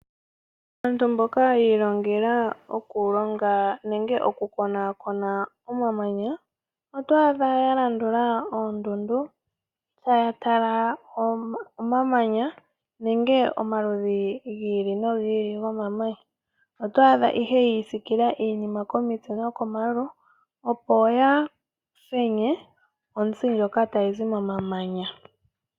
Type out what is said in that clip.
Aantu mboka yiilongela oku konakona omamanya otwaadha yalandula oondundu tayatala omamanya gomaludhi giili no giili, otwaadha yiisikila iinima komitse nokomayulu opo yaafenye ontsi ndjoka tayizi momamanya.